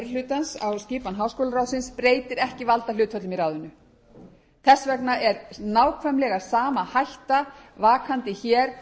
háksólaráðsins breytir ekki valdahlutföllum í ráðinu þess vegna er nákvæmlega sama hætta vakandi hér